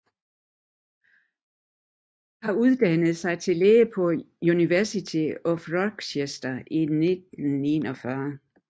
Han uddannede sig til læge på University of Rochester i 1941